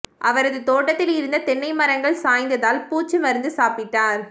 அவரது தோட்டத்தில் இருந்த தென்னை மரங்கள் சாய்ந்ததால் பூச்சி மருந்து சாப்பிட்டார்